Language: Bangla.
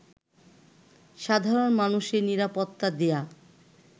সাধারণ মানুষের নিরাপত্তা দেয়া